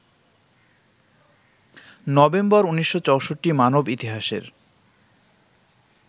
November ১৯৬৪- মানব ইতিহাসের